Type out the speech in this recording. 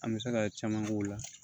An bɛ se ka caman k'o la